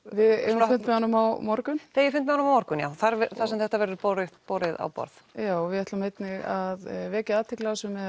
við eigum fund með honum á morgun þið eigið fund með honum á morgun já þar sem þetta verður borið borið á borð já og við ætlum einnig að vekja athygli á þessu með